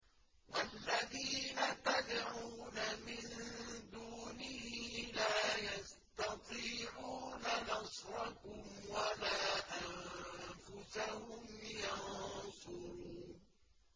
وَالَّذِينَ تَدْعُونَ مِن دُونِهِ لَا يَسْتَطِيعُونَ نَصْرَكُمْ وَلَا أَنفُسَهُمْ يَنصُرُونَ